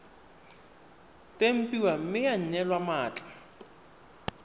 tempiwa mme ya neelwa mmatla